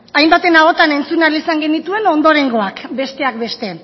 hainbaten ahotan entzun ahal izan genituen ondorengoak besteak beste